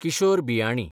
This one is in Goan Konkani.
किशोर बियाणी